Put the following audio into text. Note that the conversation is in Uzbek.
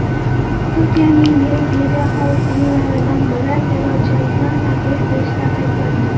Turkiyaning yirik mediaxoldinglaridan biri terrorchilikni targ‘ib qilishda ayblandi.